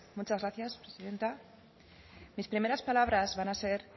muchas gracias presidenta mis primeras palabras van a ser